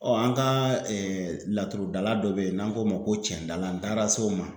Ɔ an ga laturudala dɔ be yen n'an k'o ma ko cɛndala an taara se o ma